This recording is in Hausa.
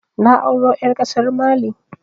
Na auro ƴar ƙasar Mali